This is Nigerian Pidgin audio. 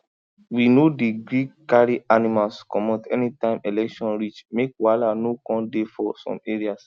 we no dey gree carry animals commot anytime election reach make wahala no come dey for some areas